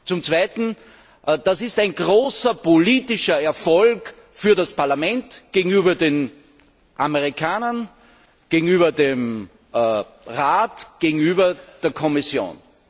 Zum Zweiten Das ist ein großer politischer Erfolg des Parlaments gegenüber den Amerikanern, gegenüber dem Rat, gegenüber der Kommission.